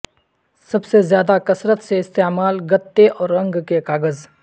سب سے زیادہ کثرت سے استعمال گتے اور رنگ کے کاغذ